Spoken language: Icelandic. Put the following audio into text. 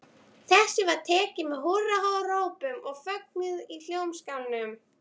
Þessu var tekið með húrrahrópum og fögnuði í Hljómskálanum.